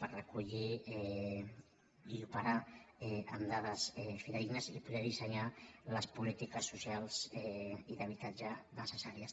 per recollir i operar amb dades fidedignes i poder dissenyar les polítiques socials i d’habitatge necessàries